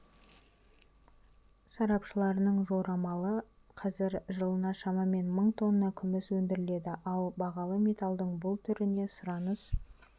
сарапшыларының жорамалы қазір жылына шамамен мың тонна күміс өндіріледі ал бағалы металдың бұл түріне сұраныс